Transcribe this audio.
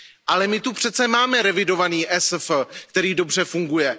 Ale my tu přeci máme revidovaný ESF, který dobře funguje.